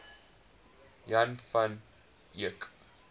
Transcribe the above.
jan van eyck